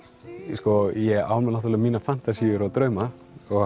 sko ég á alveg mínar fantasíur og drauma